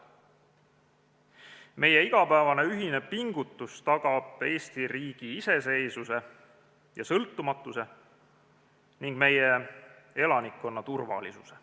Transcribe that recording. Meie igapäevane ühine pingutus tagab Eesti riigi iseseisvuse ja sõltumatuse ning meie elanikkonna turvalisuse.